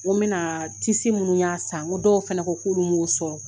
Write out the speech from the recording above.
N ko n bɛna tisi minnu n y'a san n ko dɔw fana ko k'olu m'o sɔrɔ